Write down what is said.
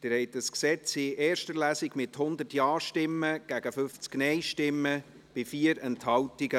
Sie haben das Gesetz nach der ersten Lesung angenommen, mit 100 Ja- gegen 50 NeinStimmen bei 4 Enthaltungen.